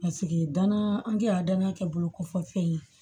danaya angi a danaya kɛ bolo kɔfɛ fɛn ye